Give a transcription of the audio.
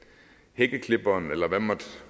hækkeklipperen eller hvad